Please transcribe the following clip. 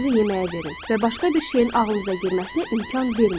Diqqətinizi yeməyə verin və başqa bir şeyin ağlınıza girməsinə imkan verməyin.